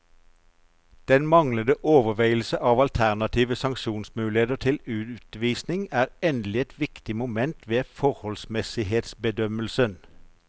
Den manglende overveielse av alternative sanksjonsmuligheter til utvisning er endelig et viktig moment ved forholdsmessighetsbedømmelsen.